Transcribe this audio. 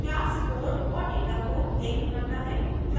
class code और data को links करता है